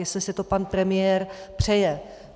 Jestli si to pan premiér přeje.